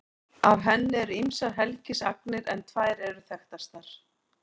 Af henni eru ýmsar helgisagnir en tvær eru þekktastar.